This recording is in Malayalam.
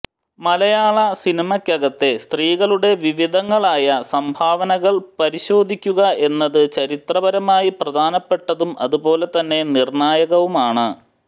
മലയാള സിനിമക്കകത്തെ സ്ത്രീകളുടെ വിവിധങ്ങളായ സംഭാവനകൾ പരിശോധിക്കുക എന്നത് ചരിത്രപരമായി പ്രധാനപ്പെട്ടതും അതുപോലെ തന്നെ നിർണ്ണായകവുമാണ്